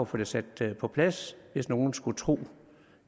få sat det på plads hvis nogen skulle tro